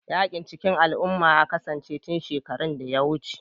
Yaƙin cikin al'umma ya kasance tun shekaru da yawa